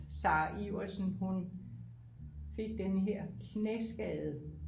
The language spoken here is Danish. Sarah Iversen hun fik den her knæskade